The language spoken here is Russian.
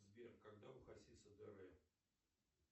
сбер когда у хасиса др